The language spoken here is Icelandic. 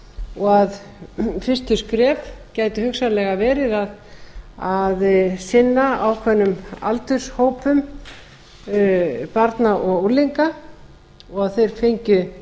og að fyrstu skref gætu hugsanlega verið að sinna ákveðnum aldurshópum barna og unglinga og að þeir fengju